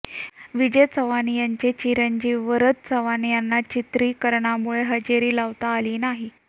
विजय चव्हाण यांचे चिरंजीव वरद चव्हाण यांना चित्रीकरणामुळे हजेरी लावता आली नाही